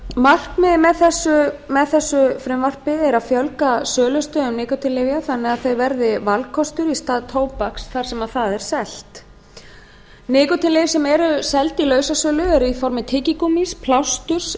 markmiðið með þessu frumvarpi er að fjölga sölustöðum nikótínlyfja þannig að þau verði valkostur í stað tóbaks þar sem það er selt nikótínlyf sem eru seld í lausasölu eru í formi tyggigúmmís plásturs